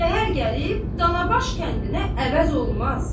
Şəhər gəlib Danabaş kəndinə əvəz olmaz.